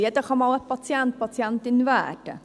Jeder kann einmal ein Patient/eine Patientin werden.